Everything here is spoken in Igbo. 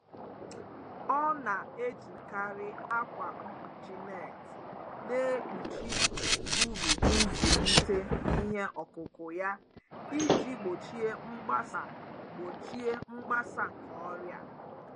ọ na-ejikarị akwa mkpuchi neeti na-ekpuchi ubi nzulite ihe ọkụkụ ya iji gbochie mgbasa gbochie mgbasa nke ọrịa.